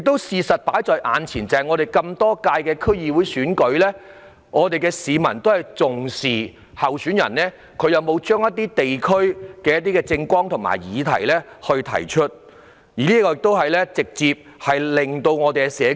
事實上，在歷屆區議會選舉中，市民都很重視候選人有否把地區議題納入他們的政綱，從而直接改善社區。